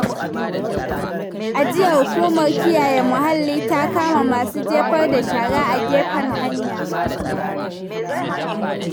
A jiya, hukumar kiyaye muhalli ta kama masu jefar da shara a gefen hanya.